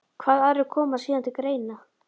Hvaða aðrir koma síðan til greina?